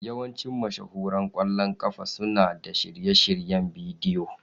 Yawancin mashahuran ƙwallon ƙafa suna da shirye-shiryen bidiyo.